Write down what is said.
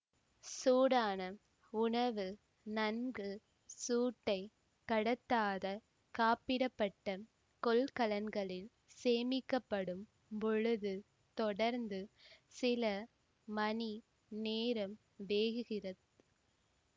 சூடான உணவு நன்கு சூட்டை கடத்தாத காப்பிடப்பட்ட கொள்கலன்களில் சேமிக்கப்படும் பொழுது தொடர்ந்து சில மணி நேரம் வேகுகிறது